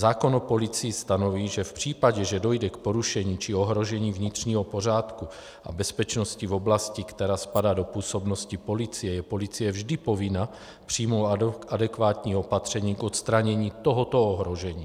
Zákon o policii stanoví, že v případě, že dojde k porušení či ohrožení vnitřního pořádku a bezpečnosti v oblasti, která spadá do působnosti policie, je policie vždy povinna přijmout adekvátní opatření k odstranění tohoto ohrožení.